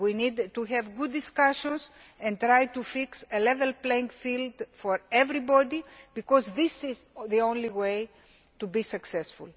We need to have good discussions and to try to fix a level playing field for everybody, because this is the only way to be successful.